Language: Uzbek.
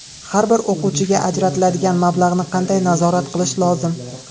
Har bir o‘quvchiga ajratiladigan mablag‘ni qanday nazorat qilish lozim?